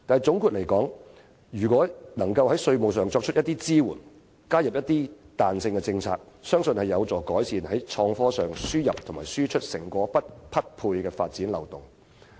總括而言，如果政府能在稅務上作出支援，加入彈性政策，我相信有助改善創科輸入及輸出成果不匹配的發展漏洞。